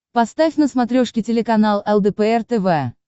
поставь на смотрешке телеканал лдпр тв